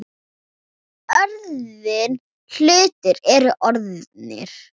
Orðnir hlutir eru orðnir.